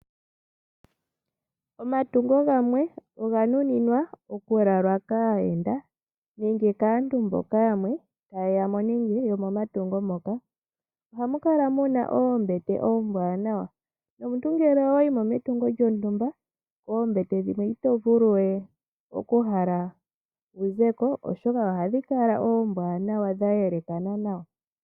Omatungo gamwe oga nu ninwa okulalwa kaayenda, ohamukala muna oombete oombwanawa numuntu ngele owayimo metungo lyontumba, kombete hoka itohala wuzeko oshoka ohadhikala oombwanawa dha yelekana nawa.